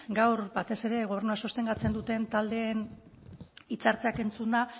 gaur batez ere gobernua sostengatzen duten taldeen hitzartzeak entzunda